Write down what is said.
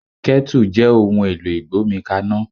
Kẹ́tù jẹ́ ohun èlò ìgbómi kaná.